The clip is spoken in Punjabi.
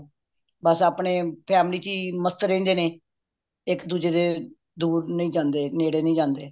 ਬੱਸ ਆਪਣੇ family ਚ ਹੀ ਮਸਤ ਰਹਿੰਦੇ ਨੇ ਇੱਕ ਦੂੱਜੇ ਦੇ ਦੂਰ ਨਹੀਂ ਜਾਂਦੇ ਨੇੜੇ ਨਹੀਂ ਜਾਂਦੇ